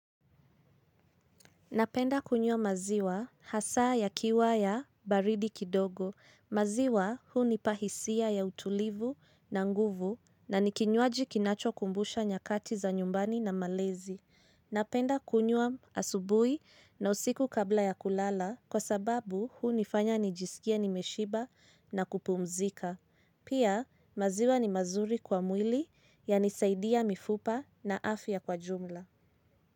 Napenda kunyua maziwa hasa ya kiwaya baridi kidogo. Maziwa huunipahisia ya utulivu na nguvu na nikinyuaji kinacho kumbusha nyakati za nyumbani na malezi. Napenda kunyua asubui na usiku kabla ya kulala kwa sababu huu nifanya nijisikie nimeshiba na kupumzika. Pia maziwa ni mazuri kwa mwili ya nisaidia mifupa na afya kwa jumla.